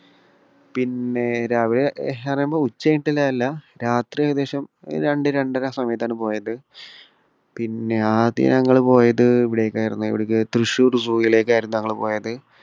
പിന്നെ രാവിലെ എന്നു പറയുമ്പോൾ ഉച്ചകഴിഞ്ഞിട്ടുള്ളതല്ല രാത്രി ഏകദേശം രണ്ടു രണ്ടര സമയത്താണ് പോയത്. പിന്നെ ആദ്യം ഞങ്ങൾ പോയത് ഇവിടേയ്ക്കായിരുന്നു. എവിടേക്ക് തൃശൂർ zoo വിലേക്കായിരുന്നു ഞങ്ങൾ പോയത്.